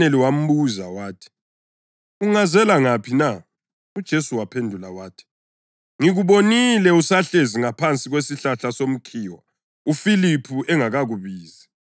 UNathaneli wambuza wathi, “Ungazela ngaphi na?” UJesu waphendula wathi, “Ngikubonile usahlezi ngaphansi kwesihlahla somkhiwa uFiliphu engakakubizi.”